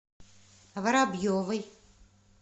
воробьевой